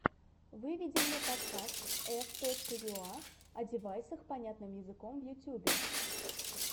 выведи мне подкаст ф точка юа о девайсах понятным языком в ютубе